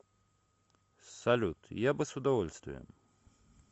салют я бы с удовольствием